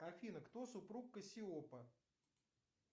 афина кто супруг кассиопа